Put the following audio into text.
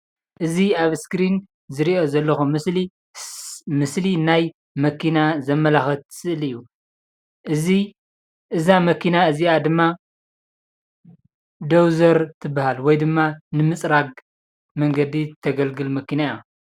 እዚ ኣብ እስክሪን ዝረኦ ዘለኩ ምስሊ ምስሊ ናይ መኪና ዘመላክት ምስሊ እዩ፣ እዛ መኪና እዚኣ ድማ ደውዘር ትበሃል ወይ ድማ ንምንፅራግ መንገዲ ተገልግል መኪና እያ ፡፡